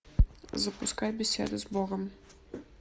запускай беседа с богом